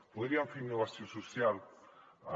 podríem fer innovació social en